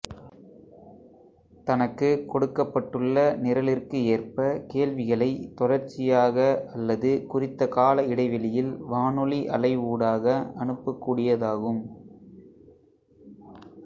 தனக்கு கொடுக்கப்பட்டுள்ள நிரலிற்கு ஏற்ப கேள்விகளை தொடர்ச்சியாக அல்லது குறித்த கால இடைவெளியில் வானொலி அலை ஊடாக அனுப்ப கூடியதாகும்